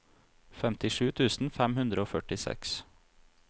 femtisju tusen fem hundre og førtiseks